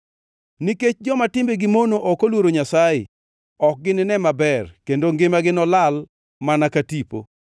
Nikech joma timbegi mono ok oluoro Nyasaye, ok ginine maber kendo ngimagi nolal mana ka tipo.